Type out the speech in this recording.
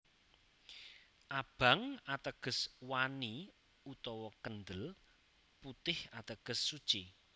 Abang ateges wani utawa kendel putih ateges suci